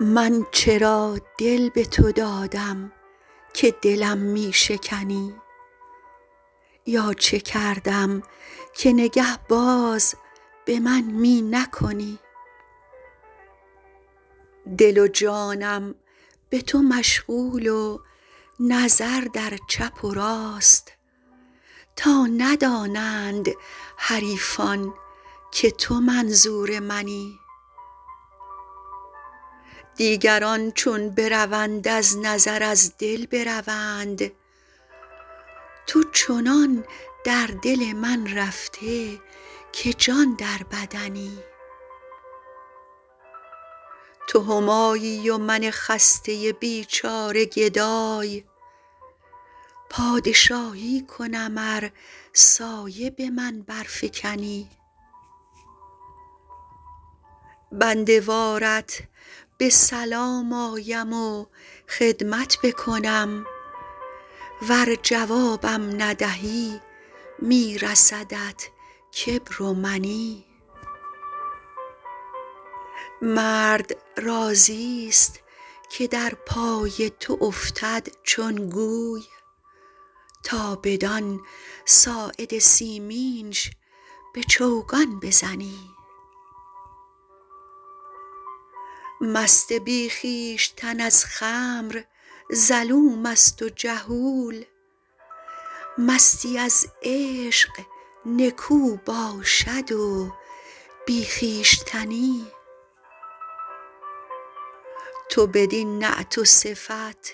من چرا دل به تو دادم که دلم می شکنی یا چه کردم که نگه باز به من می نکنی دل و جانم به تو مشغول و نظر در چپ و راست تا ندانند حریفان که تو منظور منی دیگران چون بروند از نظر از دل بروند تو چنان در دل من رفته که جان در بدنی تو همایی و من خسته بیچاره گدای پادشاهی کنم ار سایه به من برفکنی بنده وارت به سلام آیم و خدمت بکنم ور جوابم ندهی می رسدت کبر و منی مرد راضیست که در پای تو افتد چون گوی تا بدان ساعد سیمینش به چوگان بزنی مست بی خویشتن از خمر ظلوم است و جهول مستی از عشق نکو باشد و بی خویشتنی تو بدین نعت و صفت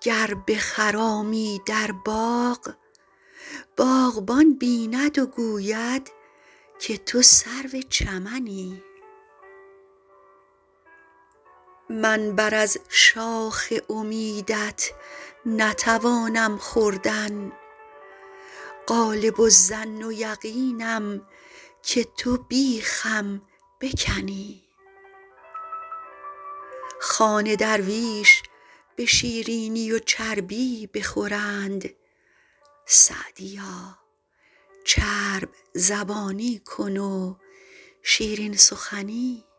گر بخرامی در باغ باغبان بیند و گوید که تو سرو چمنی من بر از شاخ امیدت نتوانم خوردن غالب الظن و یقینم که تو بیخم بکنی خوان درویش به شیرینی و چربی بخورند سعدیا چرب زبانی کن و شیرین سخنی